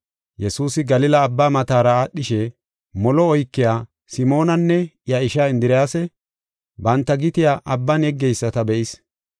Yesuusi Galila Abbaa matara aadhishe, molo oykiya, Simoonanne iya ishaa Indiriyasa, banta gitiya abban yeggeyisata be7is.